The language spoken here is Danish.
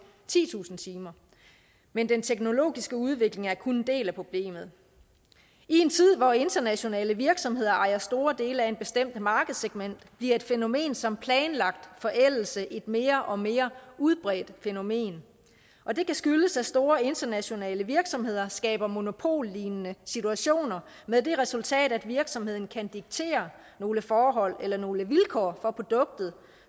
titusind timer men den teknologiske udvikling er kun en del af problemet i en tid hvor internationale virksomheder ejer store dele af et bestemt markedssegment bliver et fænomen som planlagt forældelse et mere og mere udbredt fænomen og det kan skyldes at store internationale virksomheder skaber monopollignende situationer med det resultat at virksomheden kan diktere nogle forhold eller nogle vilkår for produktet